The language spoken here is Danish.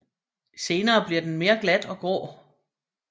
Senere bliver den mere glat og grå